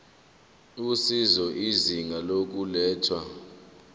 usizo izinga lokulethwa